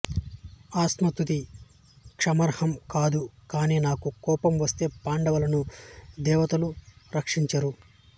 ఆత్మస్తుతి క్షమార్హం కాదు కాని నాకు కోపం వస్తే పాండవులను దేవతలు రక్షించరు